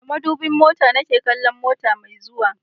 Da madubin mota na ke kallon mota mai zuwa